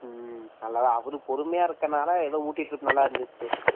அவர் பொறுமையாக இருப்பதினால ஏதோ ஊட்டி trip நல்லா இருந்துச்சு